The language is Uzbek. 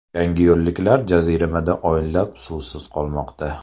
Yangiyo‘lliklar jaziramada oylab suvsiz qolmoqda.